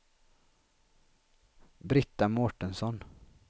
Brita Mårtensson